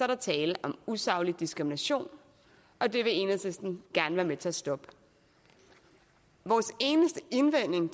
der tale om usaglig diskrimination og det vil enhedslisten gerne være med til at stoppe vores eneste indvending